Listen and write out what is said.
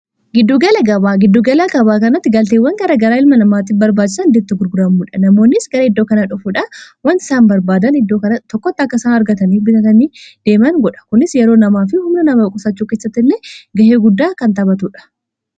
giddugala gabaa kanatti galteewwan gara garaa ilma namaatii barbaajisan ddetto gurguraammuudha namoonnis gara iddoo kanaa dhofuudha wanti isaan barbaadan tokkotta akka isaan argataniif bitatanii deeman godha kunis yeroo namaa fi humna nama qusaachuu kessatta illee ga'ee guddaa kan taphatuudha